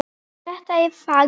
Þetta er fag.